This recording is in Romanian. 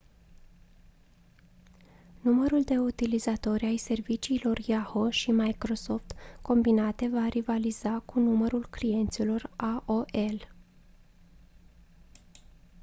numărul de utilizatori ai serviciilor yahoo și microsoft combinate va rivaliza cu numărul clienților aol